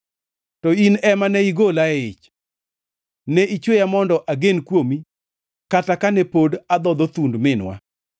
To in ema ne igola e ich; ne ichweya mondo agen kuomi kata kane pod adhodho thund minwa.